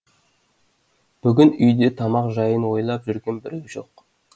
бүгін үйде тамақ жайын ойлап жүрген біреу жоқ